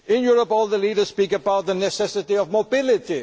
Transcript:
In Europe all the leaders speak about the necessity of mobility.